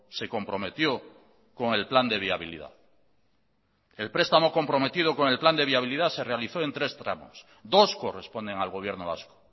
se comprometió con el plan de viabilidad el prestamo comprometido con el plan de viabilidad se realizó en tres tramos dos corresponden al gobierno vasco